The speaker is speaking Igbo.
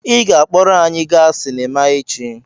Ị ga-akpọrọ anyị gaa sinima echi!